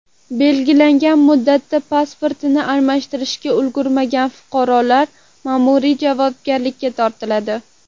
Belgilangan muddatda pasportini almashtirishga ulgurmagan fuqarolar ma’muriy javobgarlikka tortiladi.